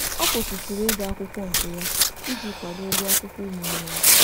Ọ kwụsịtụrụ ịga akwụkwọ nke ya iji kwado ụgwọ akwụkwọ ụmụnne ya.